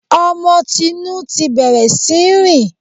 Ọmọ Tinú ti bẹ̀rẹ̀ sí í rìn